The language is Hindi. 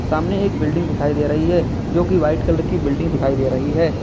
सामने एक बिल्डिंग दिखाई दे रही है जो की व्हाइट कलर की बिल्डिंग दिखाई दे रही है।